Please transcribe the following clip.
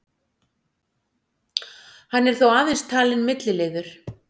Hann er þó aðeins talinn milliliður